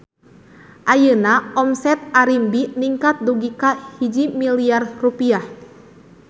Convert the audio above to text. Ayeuna omset Arimbi ningkat dugi ka 1 miliar rupiah